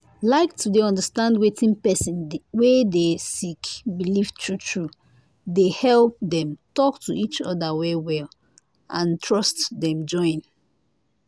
liketo dey understand wetin pesin wey dey sick believe true true dey help dem talk to each other well well and trust dem join.